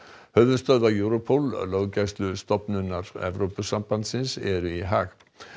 höfuðstöðvar Europol Evrópusambandsins eru í Haag